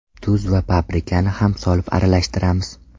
Tuz va paprikani ham solib aralashtiramiz.